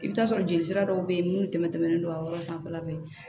I bɛ taa sɔrɔ joli sira dɔw bɛ yen minnu tɛmɛnen don a yɔrɔ sanfɛla fɛ